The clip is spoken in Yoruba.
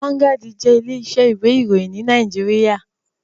Vanguard jé ilé isẹ́ ìwé ìròyìn ní Naijiria